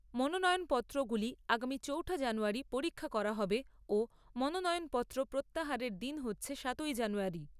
মনোনয়নপত্রগুলি আগামী চৌঠা জানুয়ারী পরীক্ষা করা হবে ও মনোনয়নপত্র প্রত্যাহারের দিন হচ্ছে সাতই জানুয়ারী।